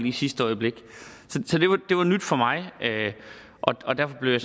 i sidste øjeblik så det var nyt for mig og derfor blev jeg